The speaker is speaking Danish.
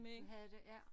Du havde det ja